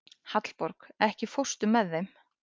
Hallborg, ekki fórstu með þeim?